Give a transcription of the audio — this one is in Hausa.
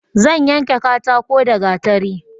Zan yanke katako da gatari